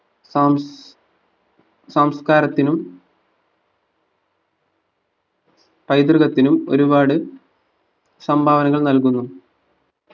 Sam സാംസ്കാരത്തിനും പൈതൃകത്തിനും ഒരുപാട് സംഭാവനകൾ നൽകുന്നു